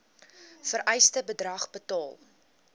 vereiste bedrag betaal